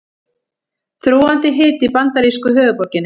Þrúgandi hiti í bandarísku höfuðborginni